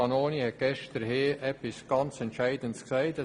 Vanoni hat gestern etwas ganz Entscheidendes gesagt.